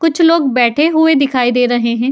कुछ लोग बैठे हुए दिखाई दे रहे हैं।